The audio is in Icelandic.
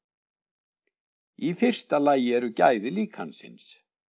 Í fyrsta lagi eru gæði líkansins.